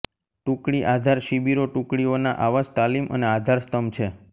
ટુકડી આધાર શિબિરો ટુકડીઓના આવાસ તાલીમ અને આધારસ્તંભ છે